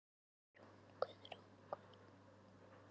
Guðrún og hann.